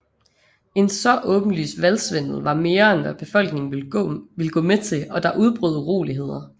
En så åbenlys valgsvindel var mere end hvad befolkningen ville gå med til og der udbrød uroligheder